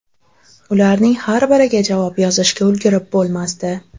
Ularning har biriga javob yozishga ulgurib bo‘lmasdi.